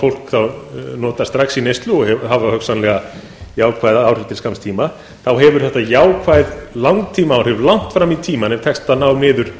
fólk notar strax í neyslu og hefur hugsanlega jákvæð áhrif til skamms tíma hefur þetta jákvæð langtímaáhrif langt fram í tímann ef tekst að ná niður